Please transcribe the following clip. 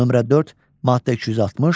Nömrə 4, maddə 260.